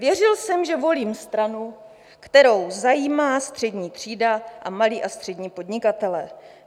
Věřil jsem, že volím stranu, kterou zajímá střední třída a malí a střední podnikatelé.